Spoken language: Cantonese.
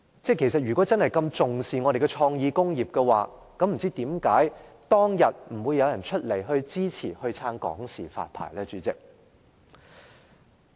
如果政府真的這麼重視創意工業，為甚麼當天沒有人支持向港視發牌呢？